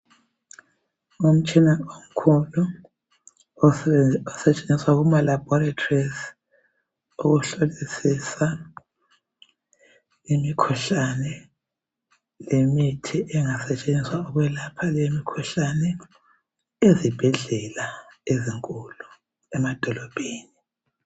Ngumtshina omkhulu. Osetshenziswa kumalaboratories, ukuhlolisisa imikhuhlane, lemithi engasetshenziswa, ukwelapha limikhuhlane, ezibhedlela ezinkulu emadolobheni.